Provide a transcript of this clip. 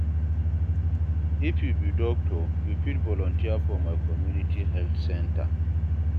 If you be doctor, you fit volunteer for my community health center.